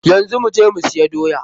Yanzu mu je mu siya doya.